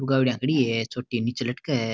गाड़ियां खड़ी है छोटी निचे लटक है।